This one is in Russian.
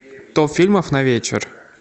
топ фильмов на вечер